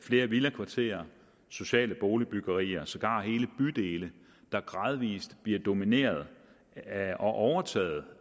flere villakvarterer og sociale boligbyggerier sågar hele bydele der gradvis bliver domineret af og overtaget